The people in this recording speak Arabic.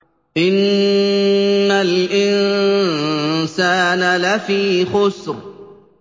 إِنَّ الْإِنسَانَ لَفِي خُسْرٍ